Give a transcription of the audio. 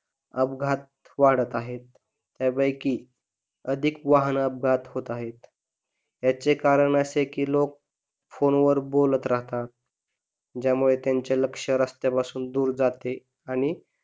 अपघात वाढत आहेत त्यापैकी अधिक वाहन अपघात होत आहेत याचे कारण असे कि लोक फोन वर बोलत राहतात ज्यामुळे त्यांचे लक्ष रस्त्यापासून दूर जाते, आणि